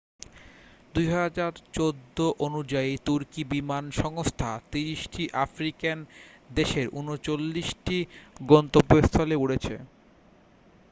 2014 অনুযায়ী তুর্কি বিমান সংস্থা 30 টি আফ্রিকান দেশের 39 টি গন্তব্যস্থলে উড়েছে